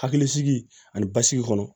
Hakilisigi ani basigi kɔnɔ